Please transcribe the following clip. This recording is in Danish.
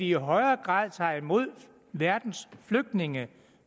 i højere grad tager imod verdens flygtninge